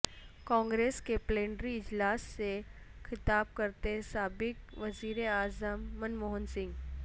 کانگریس کے پلینری اجلاس سے خطاب کرتے سابق وزیر اعظم منموہن سنگھ